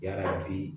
Yala bi